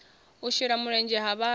u shela mulenzhe ha vhathu